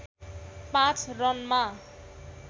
पाँच रनमा